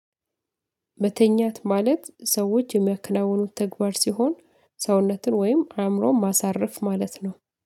መተኛት ማለት ሰዎች የሚያከናውኑት ተግባር ሲሆን ሰውነትን ወይም አእምሮነ ማሳረፍ ማለት ነው